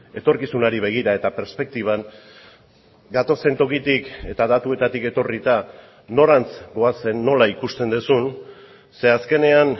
etorkizunari begira eta perspektiban gatozen tokitik eta datuetatik etorrita norantz goazen nola ikusten duzun ze azkenean